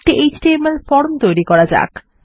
একটি HTML form তৈরী করা যাক